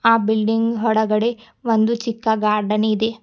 ಆ ಬಿಲ್ಡಿಂಗ್ ಹೊರಗಡೆ ಚಿಕ್ಕ ಗಾರ್ಡನ್ ಇದೆ.